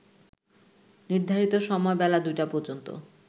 নির্ধারিত সময় বেলা ২টা পর্যন্ত